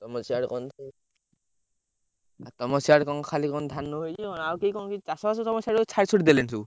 ତମ ସିଆଡେ ତମ ସିଆଡେ କଣ? ଖାଲି କଣ? ଧାନ ହେଇଛି ଆଉ କେହି କଣ? ଚାଷ ବାସ ସିଆଡେ ସବୁ ଛାଡି ଛୁଡି ଦେଲେଣି ସବୁ।